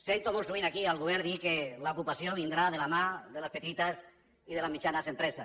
sento molt sovint aquí el govern dir que l’ocupació vindrà de la mà de les petites i de les mitjanes empreses